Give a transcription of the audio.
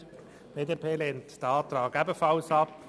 Die BDP lehnt diesen Antrag ebenfalls ab.